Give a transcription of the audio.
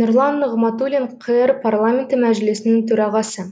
нұрлан нығматулин қр парламенті мәжілісінің төрағасы